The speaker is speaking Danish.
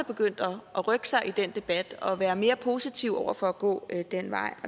begyndt at rykke sig i den debat og være mere positiv over for at gå den vej